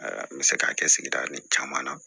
N bɛ se k'a kɛ sigida ni caman na